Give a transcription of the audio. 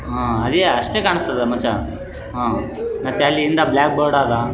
ಇಲ್ಲಿ ನಾನು ನೋಡುತ್ತಿರುವ ಎಲ್ಲ ಚಿಕ್ಕಚಿಕ್ಕ ಮಕ್ಕಳು ಡಾನ್ಸ್ ಮಾಡುತ್ತಾ ಇದ್ದಾರೆ ಡಾನ್ಸ್ ಅಕ್ಯಾಡಮಿ ಅಂತ ಬರದಿದ್ದಾರೆ .